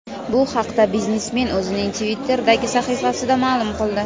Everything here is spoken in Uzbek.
Bu haqda biznesmen o‘zining Twitter’dagi sahifasida ma’lum qildi .